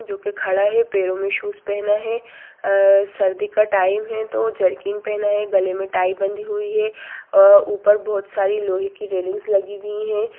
जो की खड़ा है पैरों मे शूज पहना है | सर्दी का टाइम है तो जरकिन पहना है गले में टाई बंधी हुई है ऊपर बहुत सारी लोहे की रेलिंगस लगी हुई है ।